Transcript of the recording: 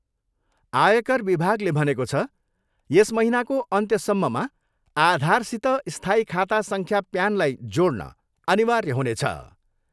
आयकर विभागले भनेको छ, यस महिनाको अन्त्यसम्ममा आधारसित स्थायी खाता सङ्ख्या प्यानलाई जोड्न अनिर्वाय हुनेछ।